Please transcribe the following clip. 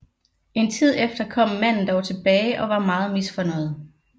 En tid efter kom manden dog tilbage og var meget misfornøjet